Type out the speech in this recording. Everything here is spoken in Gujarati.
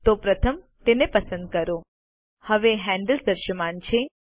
તો પ્રથમ તેને પસંદ કરો હવે હેન્ડલ્સ દૃશ્યમાન છે